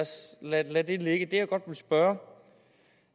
det ligge det jeg godt vil spørge